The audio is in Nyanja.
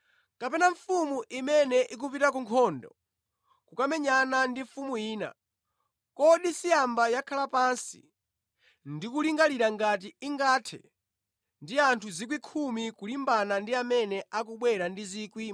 “Kapena mfumu imene ikupita ku nkhondo kukamenyana ndi mfumu ina, kodi siyamba yakhala pansi ndi kulingalira ngati ingathe ndi anthu 10,000 kulimbana ndi amene akubwera ndi 20,000?